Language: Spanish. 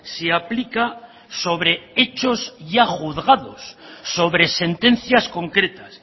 se aplica sobre hechos ya juzgados sobre sentencias concretas